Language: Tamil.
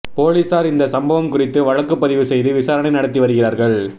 போலீசார் இந்த சம்பவம் குறித்து வழக்குப்பதிவு செய்து விசாரணை நடத்தி வருகிறார்கள்